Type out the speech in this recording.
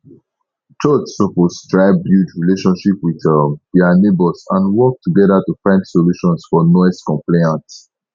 church suppose try build relationship with um dia neighbors and work together to find solutions for noise complaints